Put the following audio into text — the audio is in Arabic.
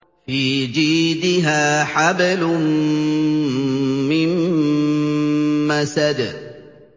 فِي جِيدِهَا حَبْلٌ مِّن مَّسَدٍ